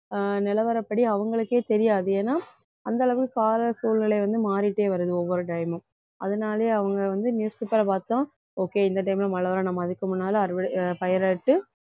அஹ் நிலவரப்படி அவங்களுக்கே தெரியாது ஏன்னா அந்த அளவு கால சூழ்நிலை வந்து மாறிட்டே வருது ஒவ்வொரு time மும் அதனாலயே அவங்க வந்து newspaper அ பார்த்தோம் okay இந்த time ல மழை வர்றோம் நம்ம அதுக்கு முன்னால அறுவட~ பயிர் எடுத்து